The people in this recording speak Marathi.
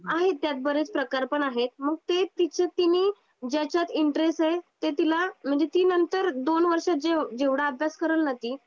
आहेत त्यात बरेच प्रकार पण आहेत. मग ते तिच तिने ज्याच्यात इंटरेस्ट आहे ते तिला म्हणजे ती नंतर दोन वर्षात जेव जेवढा अभ्यास करेल ना ती